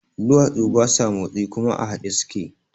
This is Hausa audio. Duwatsu basa motsi kuma a haɗe suke